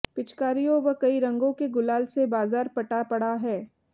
पिचकारियों व कई रंगों के गुलाल से बाजार पटा पड़ा है